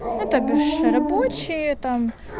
и то биш рабочая там